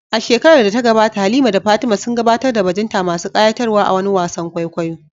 A shekarar da ta gabata, Halima da Fatima sun gabatar da bajinta masu ƙayatarwa a wani wasan kwaikwayo.